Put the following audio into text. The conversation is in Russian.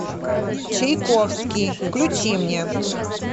чайковский включи мне